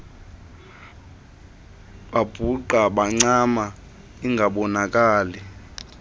babhuqa bancama ingabonakali